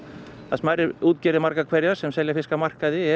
smærri útgerðir margar hverjar sem selja fisk á markaði eru